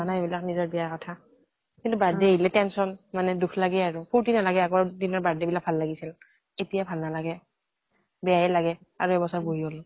নাই ইবিলাক নিজৰ বিয়াৰ কথা। কিন্তু বাইদেউ আহিলে tension, মানে দুখ লাগে আৰু ফুৰ্তি নালাগে আগৰ দিনৰ birthday বিলাক ভাল লাগিছিল। এতিয়া ভাল নালাগে। বেয়াই লাগে আঢ়ৈ বছৰ হৈ গল।